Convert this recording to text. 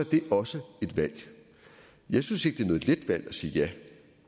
det også et valg jeg synes ikke det er noget let valg at sige ja